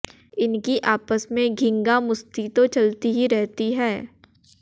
इनकी आपस में घींगा मुश्ती तो चलती ही रहती है